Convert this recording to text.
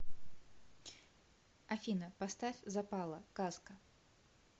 афина поставь запала казка